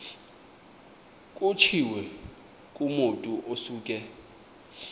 kutshiwo kumotu osuke